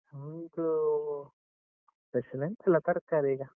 ನಮ್ದು, special ಎಂತ ಇಲ್ಲ, ತರಕಾರಿ ಈಗ.